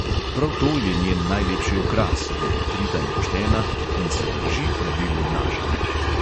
Prav to je njen najlepši okras, je odkrita in poštena in se drži pravil obnašanja.